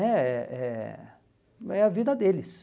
É é é a vida deles.